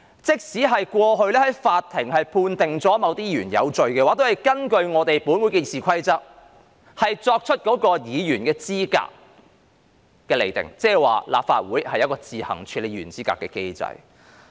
即使過去法庭曾判定某些議員有罪，但也要根據《議事規則》去釐定議員的資格，原因是立法會設有自行處理議員資格的機制。